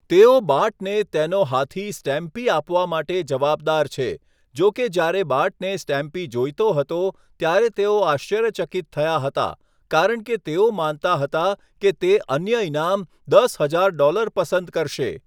તેઓ બાર્ટને તેનો હાથી સ્ટેમ્પી આપવા માટે જવાબદાર છે, જોકે જ્યારે બાર્ટને સ્ટેમ્પી જોઈતો હતો ત્યારે તેઓ આશ્ચર્યચકિત થયા હતા, કારણ કે તેઓ માનતા હતા કે તે અન્ય ઇનામ, દસ હજાર ડોલર પસંદ કરશે.